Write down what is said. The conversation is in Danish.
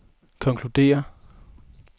konkluderer